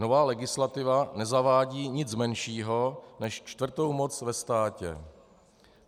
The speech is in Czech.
Nová legislativa nezavádí nic menšího než čtvrtou moc ve státě.